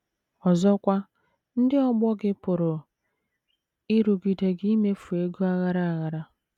Ọzọkwa, ndị ọgbọ gị pụrụ ịrụgide gị imefu ego aghara aghara.